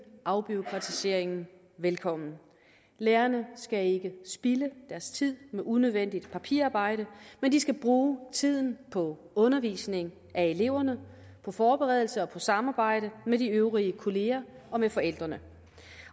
afbureaukratiseringen velkommen lærerne skal ikke spilde deres tid med unødvendigt papirarbejde men de skal bruge tiden på undervisning af eleverne og forberedelse og på samarbejde med de øvrige kolleger og med forældrene